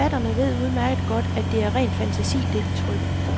Forfatterne ved udmærket godt, at det er ren fantasi, det de trykker.